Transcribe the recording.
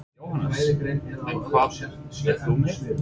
Jóhannes: En hvað ert þú með?